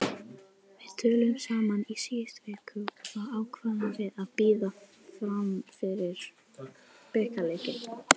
Við töluðum saman í síðustu viku og þá ákváðum við að bíða fram yfir bikarleikinn.